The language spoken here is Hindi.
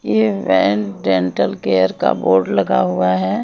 ये वैन डेंटल केयर का बोर्ड लगा हुआ है।